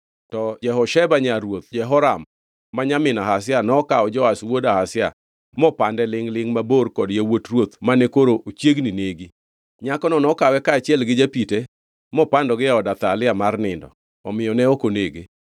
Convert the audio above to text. To Jehosheba nyar ruoth Jehoram ma nyamin Ahazia, nokawo Joash wuod Ahazia mopande lingʼ-lingʼ mabor kod yawuot ruoth mane koro ochiegni negi. Nyakono nokawe kaachiel gi japite mopandogi e od Athalia mar nindo, omiyo ne ok onege.